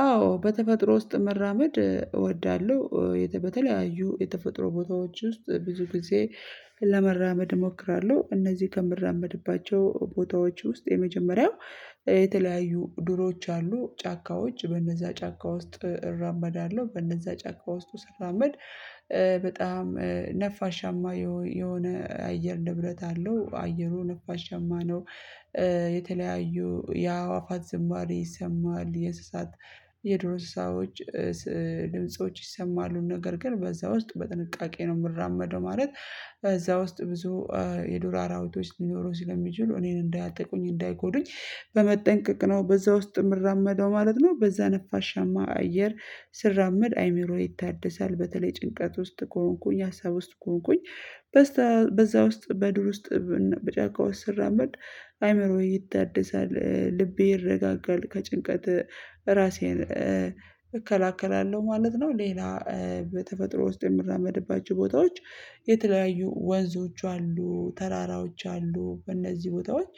አዎ በተፈጥሮ ውስጥ መራመድ እወዳለሁ። በተለያዩ የተፈጥሮ ቦታዎች ውስጥ ብዙ ጊዜ ለመራመድ እሞክራለሁ። እነዚህ ከምራመድባቸው ቦታዎች ውስጥ የመጀመሪያው የተለያዩ ድሮች አሉ ጫካዎች በእነዛ ጫካ ውስጥ እራመዳለሁ በእነዛ ጫካ ውስጥ ስራመድ በጣም ነፋሻማ የሆነ የአየር ንብረት አለው አየሩ ነፋሻማ ነው። የተለያዩ ያዋፋት ዝማሬ ይሰማል የሰሳት የድር እንሰሳዎች ድምጾች ይሰማሉ። ነገር ግን በዛ ውስጥ በጥንቃቄ ነው የምራመደው ማለት እዛ ውስጥ ብዙ የዱር አራዊቶች ሊኖሩ ሲል የሚችሉ እኔን እንዳያጠቁኝ እንዳይጎዱኝ በመጠንቀቅ ነው በዛ ውስጥ የምራመደው ማለት ነው። በዛ ነፋሻማ አየር ስራመድ አእምሮ ይታደሳል። በተለይ ጭንቀት ውስጥ ከሆንኩኝ ሀሳብ ውስጥ ከሆንኩኝ በዛ ውስጥ በዱር ውስጥ በጫካዎች ስራመድ አእምሮዬ ይታደሳል ልቤ ይረጋጋል። ከጭንቀት ራሴን እከላከላለሁ ማለት ነው። ሌላ በተፈጥሮ ውስጥ የምራመድባቸው ቦታዎች የተለያዩ ወንዞች አሉ። ተራራዎች አሉ። በእነዚህ ቦታዎች